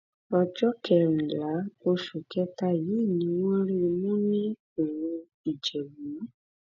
ọjọ kẹrìnlá oṣù kẹta yìí ni wọn rí i mú ní oru ìjẹbù